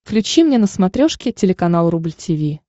включи мне на смотрешке телеканал рубль ти ви